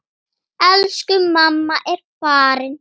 Elsku mamma er farin.